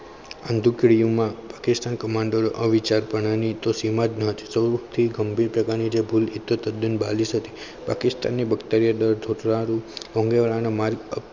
આ ટુકડીઓમાં પાકિસ્તાન commando અવિચારી પણ ની તો સીમા જ ન હતી પણ જે ગંભીર પ્રકારની ભૂલ તદ્દન બાલીસ હતી. પાકિસ્તાનની વક્તવ્યદળ મોંઘેવાળાના માર્ગ